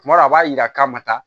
Kuma dɔw la a b'a yira k'a ma taa